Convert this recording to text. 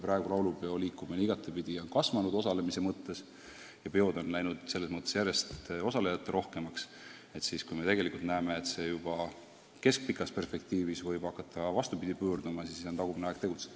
Praegu on laulupeoliikumine osalemise mõttes igatepidi kasvanud, peod on läinud järjest osalejaterohkemaks, aga kui me tegelikult näeme, et see kõik võib juba keskpikas perspektiivis hakata vastupidi pöörduma, siis on tagumine aeg tegutseda.